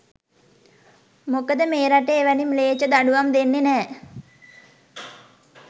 මොකද මේ රටේ එවැනි මිලේච්ඡ දඬුවම් දෙන්නෙ නැ.